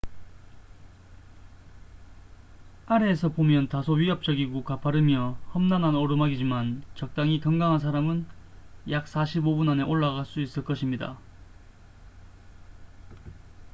아래에서 보면 다소 위압적이고 가파르며 험난한 오르막이지만 적당히 건강한 사람은 약 45분 안에 올라갈 수 있을 것입니다